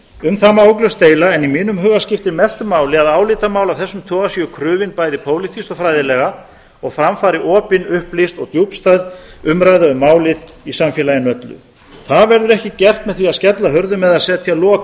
um það má ugglaust deila en í mínum huga skiptir mestu máli að álitamál af þessum toga séu krufin bæði pólitískt og fræðilega og fram fari opin upplýst og djúpstæð umræða um málið í samfélaginu öllu það verður ekki gert með því að skella hurðum eða setja lok